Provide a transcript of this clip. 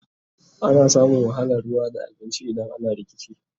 ana samun wahalan ruwa da abinci idan ana rikici